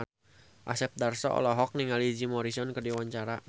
Asep Darso olohok ningali Jim Morrison keur diwawancara